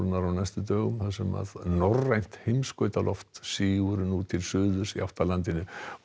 á næstu dögum þar sem norrænt sígur nú til suðurs í átt að landinu